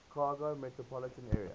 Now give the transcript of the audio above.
chicago metropolitan area